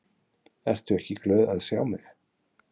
Ertu ekki glöð að sjá mig?